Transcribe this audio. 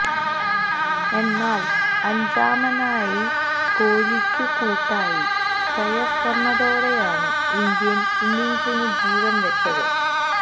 എന്നാല് അഞ്ചാമനായി കോലിക്കു കൂട്ടായി ശ്രേയസ് വന്നതോടെയാണ് ഇന്ത്യന് ഇന്നിങ്സിനു ജീവന് വച്ചത്